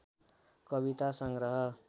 कविता सङ्ग्रह